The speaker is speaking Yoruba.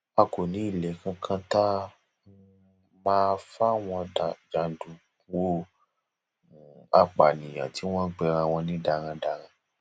a kò ní ilé kankan tá um a máa fáwọn jàǹdùkú um apànìyàn tí wọn ń pera wọn ní darandaran